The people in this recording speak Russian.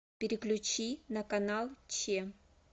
переключи на канал че